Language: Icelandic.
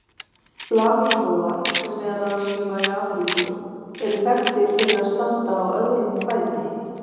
Flamingóar, sem meðal annars lifa í Afríku, eru þekktir fyrir að standa á öðrum fæti.